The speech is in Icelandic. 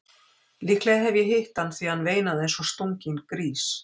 Líklega hef ég hitt hann því hann veinaði eins og stunginn grís.